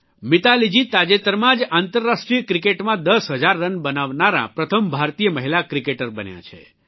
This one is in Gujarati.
મિતાલીજી તાજેતરમાં જ આંતરરાષ્ટ્રીય ક્રિકેટમાં દસ હજાર રન બનાવનારાં પ્રથમ ભારતીય મહિલા ક્રિકેટર બન્યાં છે